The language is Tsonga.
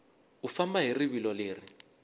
u famba hi rivilo leri